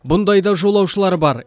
бұндай да жолаушылар бар